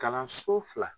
Kalanso fila